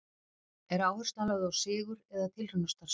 Er áherslan lögð á sigur eða tilraunastarfsemi?